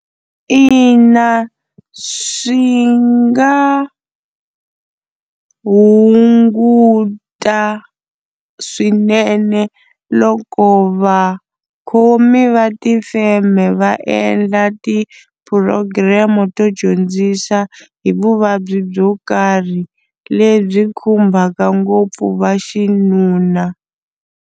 Ina swi nga hunguta swinene loko va khomi va tifeme va endla ti-program to dyondzisa hi vuvabyi byo karhi lebyi khumbaka ngopfu va xinuna.